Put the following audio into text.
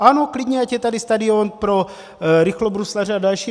Ano, klidně ať je tady stadion pro rychlobruslaře a další.